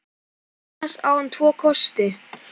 Annars á hann tvo kosti.